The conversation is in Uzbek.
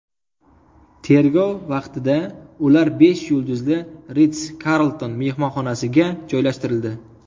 Tergov vaqtida ular besh yulduzli Ritz Carlton mehmonxonasiga joylashtirildi.